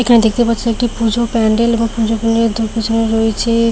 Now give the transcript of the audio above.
এখানে দেখতে পাচ্ছি একটি পুজো প্যান্ডেল এবং পুজো প্যান্ডেলের পেছনে রয়েছে।